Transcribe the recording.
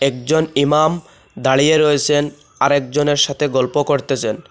একজন ইমাম দাঁড়িয়ে রয়েসেন আরেকজনের সাথে গল্প করতেসেন।